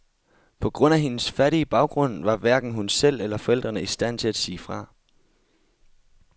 På grund af hendes fattige baggrund var hverken hun selv eller forældrene i stand til at sige fra.